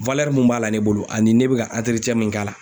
mun b'a la ne bolo ani ne bɛ ka min k'a la.